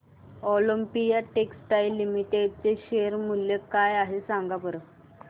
Olympia Textiles Limited चे share मूल्य काय आहे सांगा बरं